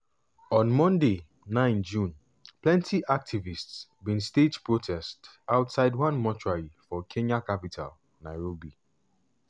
on monday 9 june plenty activists bin stage protest outside one mortuary for kenya capital nairobi.